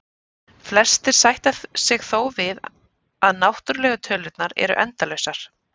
Flestir sætta sig þó við að náttúrlegu tölurnar eru endalausar.